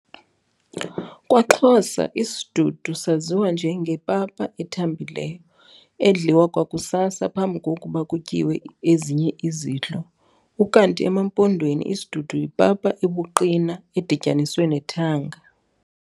KwaXhosa isidudu saziwa njengepapa ethambileyo, edliwa kwakusasa, phambi kokuba kutyiwe ezinye izidlo. ukanti emaMpondweni, isidudu yipapa ebuqina edityaniswe nethanga.